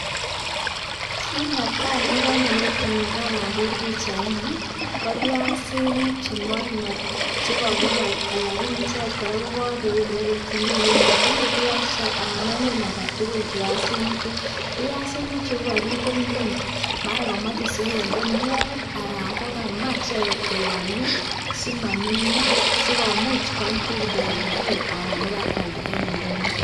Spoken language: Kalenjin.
Kinetai nekanyo metin nyuun kopiasinik chengarngar ,piasinichuu konkakinde nguuny simanunyo anan kosikwam KO(kidogo) anan koip kopa ndonyo ipkwalda